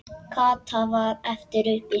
Kata varð eftir uppi.